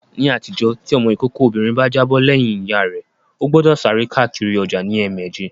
Ní àtijọ́, tí ọmọ ìkókó obìnrin bá jábọ̀ lẹ́yìn Ìyá rẹ, ó gbọ́dọ̀ sáré káàkiri ọjà ní ẹ̀mẹjẹ